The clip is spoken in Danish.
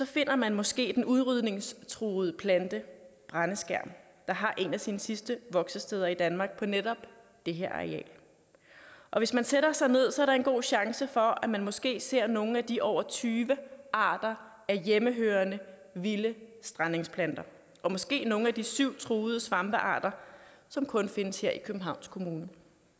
finder man måske den udryddelsestruede plante brændeskærm der har et af sine sidste voksesteder i danmark på netop det her areal og hvis man sætter sig ned er der en god chance for at man måske ser nogle af de over tyve arter af hjemmehørende vilde strandengsplanter og måske nogle af de syv truede svampearter som kun findes her i københavns kommune